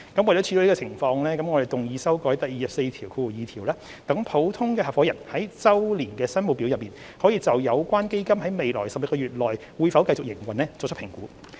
為了處理這種情況，我們動議修改第242條，讓普通合夥人在周年申報表內，可以就有關基金在未來12個月內會否繼續營運作出評估。